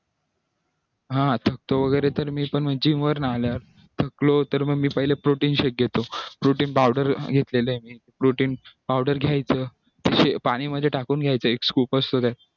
हा तो वगैरे gym वर्ण आल्यास थकलो तर मी पहिलं protein shake घेतो protein powder घेतलेली आहे मी protein powder घ्यायचं पाणी मध्ये टाकून घ्यायचं एक scoop असतो त्यात